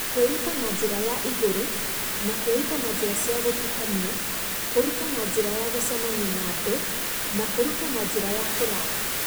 Kwĩruta na njĩra ya ĩgũrũ na kwĩruta na njĩra cia gũtukanio kũruta na njĩra ya gũcemania na andũ na kũruta na njĩra ya kũraya